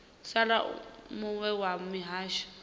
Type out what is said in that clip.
sala u muwe wa mihasho